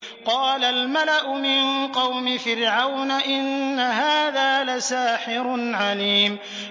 قَالَ الْمَلَأُ مِن قَوْمِ فِرْعَوْنَ إِنَّ هَٰذَا لَسَاحِرٌ عَلِيمٌ